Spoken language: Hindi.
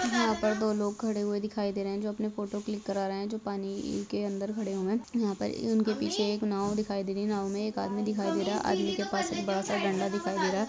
यहाँ पर दो लोग खड़े हुए दिखाई दे रहे हैं जो अपने फोटो क्लिक करा रहे हैं जो पानी के अंदर खड़े हुए हैं यहाँ पर उनके पीछे एक नांव दिखाई दे रहे हैं नाँव मे एक आदमी दिखाई दे रहा है आदमी के पास एक बड़ा सा डंडा दिखाई दे रहा है।